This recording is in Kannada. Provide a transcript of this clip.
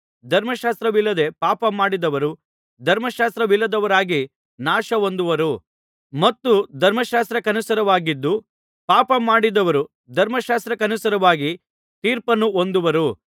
ಧರ್ಮಶಾಸ್ತ್ರವಿಲ್ಲದೆ ಪಾಪಮಾಡಿದವರು ಧರ್ಮಶಾಸ್ತ್ರವಿಲ್ಲದವರಾಗಿ ನಾಶಹೊಂದುವರು ಮತ್ತು ಧರ್ಮಶಾಸ್ತ್ರಕ್ಕನುಸಾರವಾಗಿದ್ದು ಪಾಪಮಾಡಿದವರು ಧರ್ಮಶಾಸ್ತ್ರಕ್ಕನುಸಾರವಾಗಿ ತೀರ್ಪನ್ನು ಹೊಂದುವರು